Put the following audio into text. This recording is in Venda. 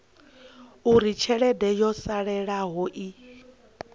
uri tshelede yo salelaho i